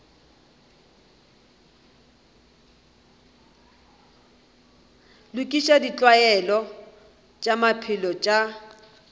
lokiša ditlwaelo tša maphelo tša